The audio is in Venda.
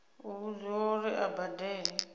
u vhudziwa uri a badele